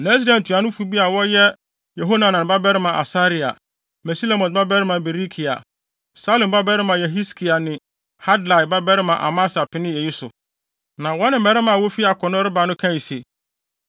Na Israel ntuanofo bi a wɔyɛ Yehohanan babarima Asaria, Mesilemot babarima Berekia, Salum babarima Yehiskia ne Hadlai babarima Amasa penee eyi so, na wɔne mmarima a wofi akono reba no kae se,